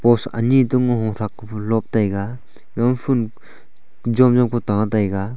post anyi to ngothrak fe lop taiga gama phool jomjom pu ta taiga.